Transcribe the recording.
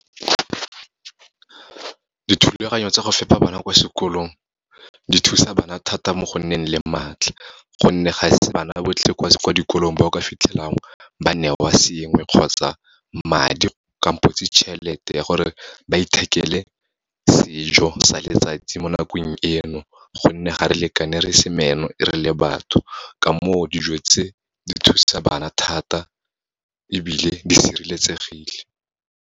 Dithulaganyo tsa go fepa bana kwa sekolong, di thusa bana thata mo go nneng le matlha, gonne ga se bana botlhe kwa dikolong ba o ka fitlhelang ba newa sengwe, kgotsa madi kampotsi tjhelete ya gore ba ithekele sejo sa letsatsi mo nakong eno, gonne ga re lekane re se meno, re le batho. Ka moo, dijo tse di thusa bana thata, ebile di sireletsegile.